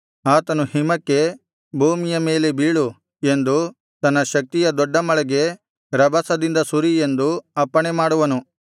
ಆತನು ಹಿಮಕ್ಕೆ ಭೂಮಿಯ ಮೇಲೆ ಬೀಳು ಎಂದು ತನ್ನ ಶಕ್ತಿಯ ದೊಡ್ಡ ಮಳೆಗೆ ರಭಸದಿಂದ ಸುರಿ ಎಂದು ಅಪ್ಪಣೆಮಾಡುವನು